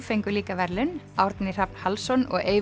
fengu líka verðlaun Árni Hrafn Hallsson og